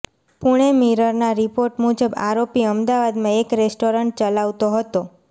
પુણે મિરરના રિપોર્ટ મુજબ આરોપી અમદાવાદમાં એક રેસ્ટોરન્ટ ચલાવતો હતો